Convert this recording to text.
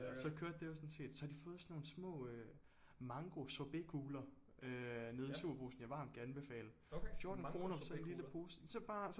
Og så kørte det jo sådan set så har de fået sådan nogle små mangosorbetkugler nede i Superbrugsen jeg varmt kan anbefale 14 kroner for sådan en lille pose